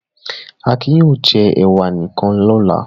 Akin yóò jẹ ẹ̀wà nìkan lọ́la.